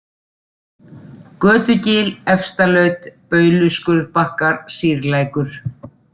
Götugil, Efstalaut, Bauluskurðbakkar, Sýrlækur